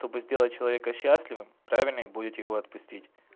чтобы сделать человека счастливым правильнее будет его отпустить